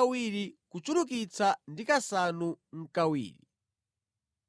70 kuchulukitsa ndi kasanu nʼkawiri.